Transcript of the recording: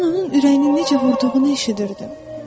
Mən onun ürəyinin necə vurduğunu eşidirdim.